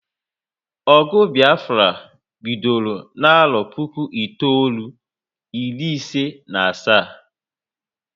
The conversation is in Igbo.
Ogụ Biafra bidoro n'arọ puku itoolu, iri isi na asaa